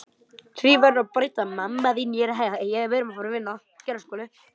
Því verður að breyta.